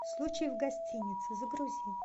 случай в гостинице загрузи